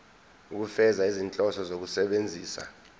ukufeza izinhloso zokusebenzisa